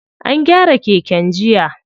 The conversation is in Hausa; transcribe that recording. An gyara keken jiya.